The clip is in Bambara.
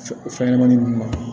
Fɛn ɲɛnɛmani nunnu ma